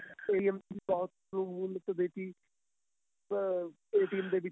ਅਹ ਦੇ ਵਿੱਚ